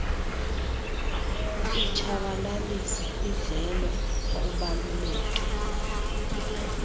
itshabalalisa idlelo kubaluleke